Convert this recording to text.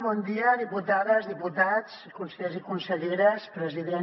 bon dia diputades diputats consellers i conselleres president